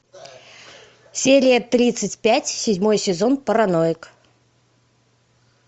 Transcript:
серия тридцать пять седьмой сезон параноик